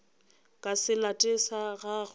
ka se late sa gagwe